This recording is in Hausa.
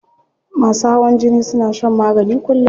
Masu hawan jini suna shan magani kullum.